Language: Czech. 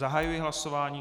Zahajuji hlasování.